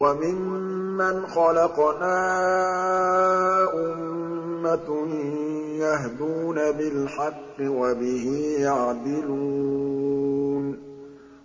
وَمِمَّنْ خَلَقْنَا أُمَّةٌ يَهْدُونَ بِالْحَقِّ وَبِهِ يَعْدِلُونَ